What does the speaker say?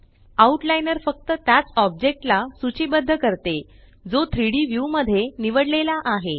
out liner फक्त त्याच ऑब्जेक्टला सूचीबद्ध करते जो 3Dव्यू मध्ये निवडलेला आहे